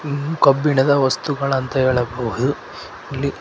ಇವು ಕಬ್ಬಿಣದ ವಸ್ತುಗಳಂತ ಹೇಳಬಹುದು ಇಲ್ಲಿ--